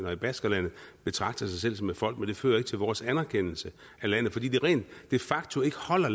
og i baskerlandet betragter sig selv som et folk men det fører ikke til vores anerkendelse af landet fordi de de facto ikke holder